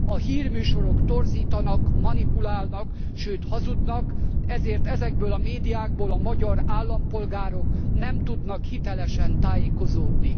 A hírműsorok torzítanak, manipulálnak, sőt hazudnak, ezért ezekből a médiákból a magyar állampolgárok nem tudnak hitelesen tájékozódni.